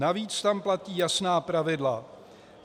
Navíc tam platí jasná pravidla.